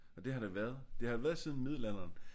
Og det har det været det har det været siden middelalderen